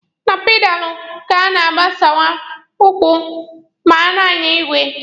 Na pedalụ ka a na-agbakwasa ụkwụ ma a na-anya igwe.